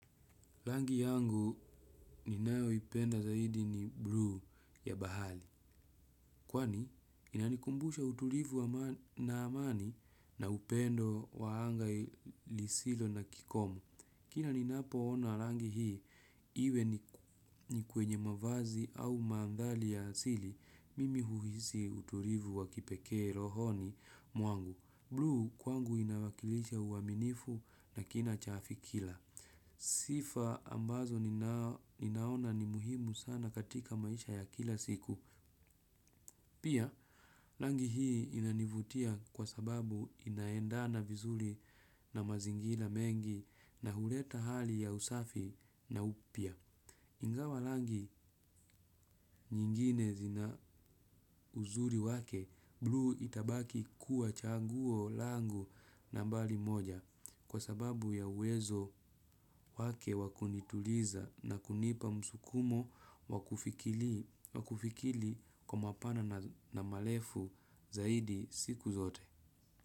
Rangi yangu ninayoipenda zaidi ni blue ya bahari. Kwani, inanikumbusha utulivu na amani na upendo wa anga lisilo na kikomo. Kila ninapoona rangi hii, iwe ni kwenye mavazi au maandhari ya asili, mimi huhusi utulivu wa kipekee rohoni mwangu. Blue kwangu inawakilisha uaminifu na kina cha fikira. Sifa ambazo ninaona ni muhimu sana katika maisha ya kila siku. Pia, rangi hii inanivutia kwa sababu inaendana vizuri na mazingira mengi na huleta hali ya usafi na upya. Ingawa rangi nyingine zina uzuri wake, blue itabaki kuwa chaguo langu nambari moja kwa sababu ya uwezo wake wa kunituliza na kunipa msukumo wa kufikiri kwa mapana na malefu zaidi siku zote.